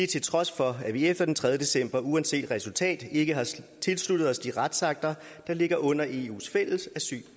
trods for at vi efter den tredje december uanset resultatet ikke har tilsluttet os de retsakter der ligger under eus fælles asyl